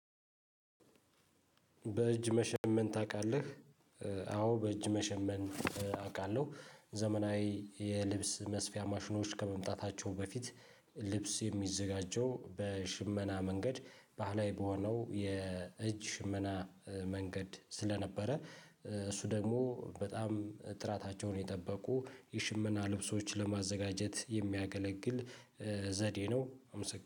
በእጅ መሸመን ታውቃለህ? አዎ በእጅ መሸመን አውቃለሁ። ዘመናዊ የልብስ መስፊያ ማሽኖች ከመምጣታቸው በፊት ልብስ የሚዘጋጀው በሽመና መንገድ ባህላዊ በሆነው የእጅ ሽመና መንገድ ስለነበረ እሱ ደግሞ በጣም ጥራታቸውን የጠበቁ የሽመና ልብሶች ለማዘጋጀት የሚያገለግል ዘዴ ነው